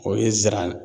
O ye n zɛrɛn